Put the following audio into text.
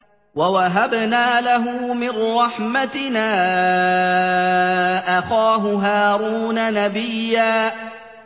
وَوَهَبْنَا لَهُ مِن رَّحْمَتِنَا أَخَاهُ هَارُونَ نَبِيًّا